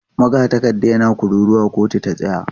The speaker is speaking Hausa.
Magatakarda yana kururuwa 'kotu ta tsaya!'